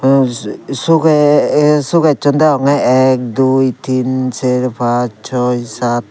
sugee ey sugessun deyongey ek dui tin ser pss soi sat.